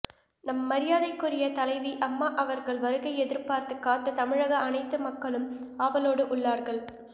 நம் மரியாதைக்குரிய தலைவி அம்மா அவர்கள் வருகை எதிர்பார்த்து காத்து தமிழக அனைத்து மக்களும் ஆவலோடு உள்ளார்கள்